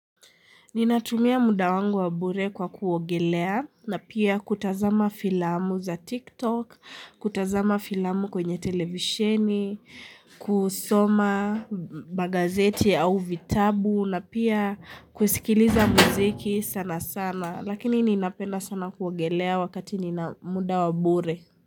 Ni natumia muda wangu wabure kwa kuogelea na pia kutazama filamu za Tik Tok, kutazama filamu kwenye televisheni, kusoma Magazeti au vitabu na pia kuskiliza muziki sana sana, lakini nina penda sana kuogelea wakati ni na muda wa bure.